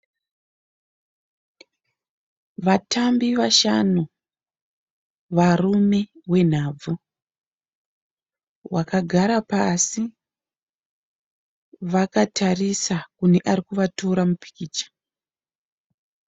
Vatambi vashanu varume venhabvu. Vakagara pasi vakatarisa kune ari kuvatora mupikicha.